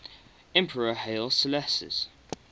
emperor haile selassie